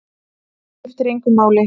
Það skiptir engu máli!